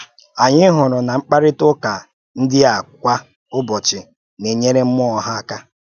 Anyị hụ̀rù na mkparịta ụ́ká ndị a kwa ụ́bọ̀chi na-enyèrè mmụọ́ ha aka.